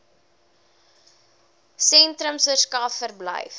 sentrums verskaf verblyf